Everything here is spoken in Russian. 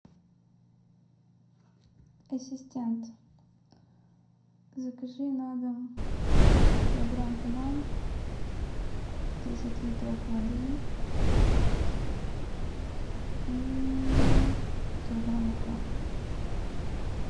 ассистент закажи на дом килограмм банан десять литров воды и килограмм лука